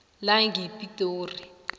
langepitori